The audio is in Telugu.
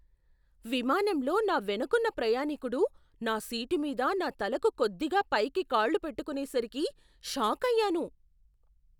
విమానంలో నా వెనకున్న ప్రయాణీకుడు నా సీటు మీద నా తలకు కొద్దిగా పైకి కాళ్లు పెట్టుకునేసరికి షాకయ్యాను!